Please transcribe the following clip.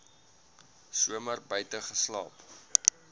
somer buite geslaap